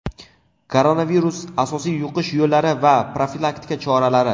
Koronavirus: asosiy yuqish yo‘llari va profilaktika choralari.